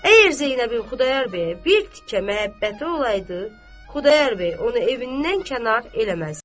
Əgər Zeynəbin Xudayar bəyə bir tikə məhəbbəti olaydı, Xudayar bəy onu evindən kənar eləməzdi.